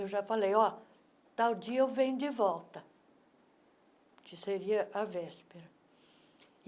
Eu já falei, ó tal dia eu venho de volta, que seria à véspera.